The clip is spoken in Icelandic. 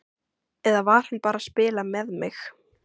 Eða var hann bara að spila með mig?